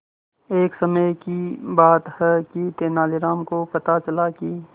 एक समय की बात है कि तेनालीराम को पता चला कि